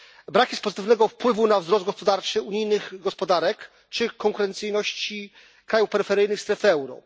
Brak jest pozytywnego wpływu na wzrost gospodarczy unijnych gospodarek czy konkurencyjność krajów peryferyjnych strefy euro.